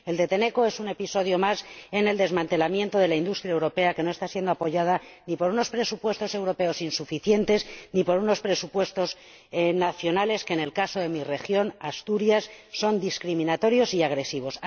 El de Tenneco es un episodio más en el desmantelamiento de la industria europea, que no está siendo apoyada ni por unos presupuestos europeos, insuficientes, ni por unos presupuestos nacionales que, en el caso de mi región, Asturias, son discriminatorios y agresivos.